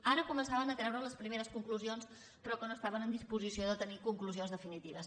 ara començaven a treure les primeres conclusions però que no estaven en disposició de tenir conclusions definitives